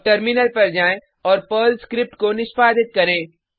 अब टर्मिनल पर जाएँ और पर्ल स्क्रिप्ट को निष्पादित करें